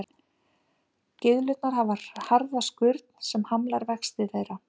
Gyðlurnar hafa harða skurn sem hamlar vexti þeirra.